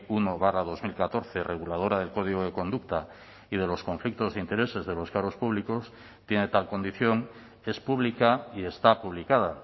uno barra dos mil catorce reguladora del código de conducta y de los conflictos de intereses de los cargos públicos tiene tal condición es pública y está publicada